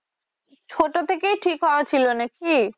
ছোট থেকেই ঠিক হওয়া ছিলো নাকি?